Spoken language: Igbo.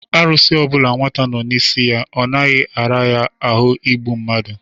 Arụsị ọbụla nwata nnọọ n'isi ya, ọ naghị ara ya ahụ igbu mmadu.